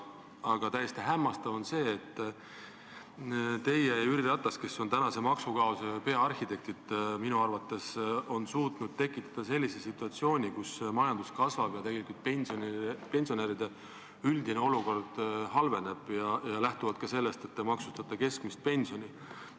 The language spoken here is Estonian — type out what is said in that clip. Aga täiesti hämmastav on see, et teie ja Jüri Ratas, kes te olete tänase maksukaose peaarhitektid, olete minu arvates suutnud tekitada sellise situatsiooni, kus majandus kasvab, aga pensionäride üldine olukord tegelikult halveneb, lähtuvalt ka sellest, et te maksustate keskmist pensioni.